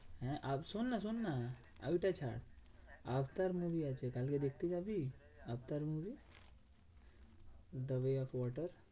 হ্যাঁ শোননা শোননা ওইটা ছাড়। অবতার movie আসছে, কালকে দেখতে যাবি? Avatar movie the way of water